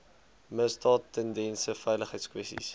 misdaad tendense veiligheidskwessies